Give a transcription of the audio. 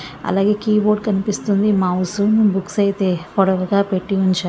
అలాగే కీబోర్డ్ కనిపిస్తుంది mouse books అయితే పొడవుగా పెట్టి ఉంచా--